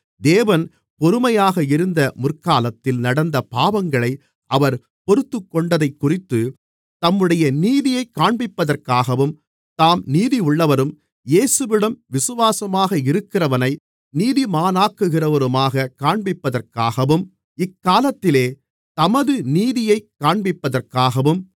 தேவன் பொறுமையாக இருந்த முற்காலத்தில் நடந்த பாவங்களை அவர் பொறுத்துக்கொண்டதைக்குறித்துத் தம்முடைய நீதியைக் காண்பிப்பதற்காகவும் தாம் நீதியுள்ளவரும் இயேசுவிடம் விசுவாசமாக இருக்கிறவனை நீதிமானாக்குகிறவருமாக காண்பிப்பதற்காகவும் இக்காலத்திலே தமது நீதியைக் காண்பிப்பதற்காகவும்